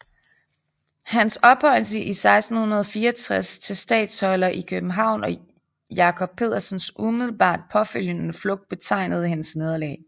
Hans ophøjelse 1664 til statholder i København og Jacob Pedersens umiddelbart påfølgende flugt betegnede hendes nederlag